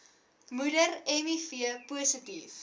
moeder miv positief